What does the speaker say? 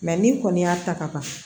ni kɔni y'a ta ka ban